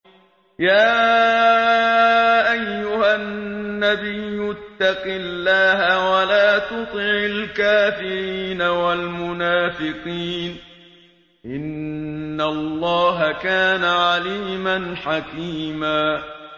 يَا أَيُّهَا النَّبِيُّ اتَّقِ اللَّهَ وَلَا تُطِعِ الْكَافِرِينَ وَالْمُنَافِقِينَ ۗ إِنَّ اللَّهَ كَانَ عَلِيمًا حَكِيمًا